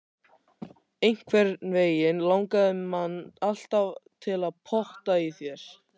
Einhvernveginn langaði mann alltaf til að pota í þær.